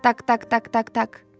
Tak-tak, tak-tak, tak.